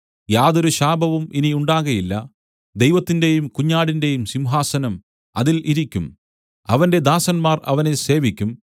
യാതൊരു ശാപവും ഇനി ഉണ്ടാകയില്ല ദൈവത്തിന്റെയും കുഞ്ഞാടിന്റെയും സിംഹാസനം അതിൽ ഇരിക്കും അവന്റെ ദാസന്മാർ അവനെ സേവിക്കും